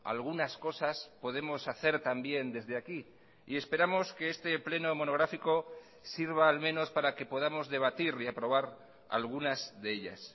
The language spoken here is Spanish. algunas cosas podemos hacer también desde aquí y esperamos que este pleno monográfico sirva al menos para que podamos debatir y aprobar algunas de ellas